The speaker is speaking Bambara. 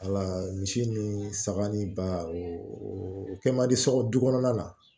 Ala misi ni saga ni ba o kɛ man di sɔgɔ du kɔnɔna na